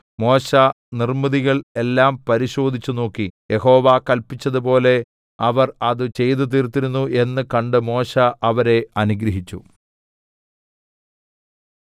മോശെ നിർമ്മിതികൾ എല്ലാം പരിശോധിച്ചു നോക്കി യഹോവ കല്പിച്ചതുപോലെ അവർ അത് ചെയ്തു തീർത്തിരുന്നു എന്ന് കണ്ട് മോശെ അവരെ അനുഗ്രഹിച്ചു